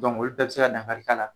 Dɔnke olu bɛɛ be se ka dankari k'a la